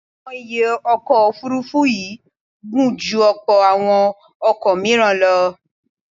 Àwọn ìyẹ́ ọkọ̀ Òfurufú yìí gùn ju ọ̀pọ̀ àwọn ọkọ̀ míràn lọ.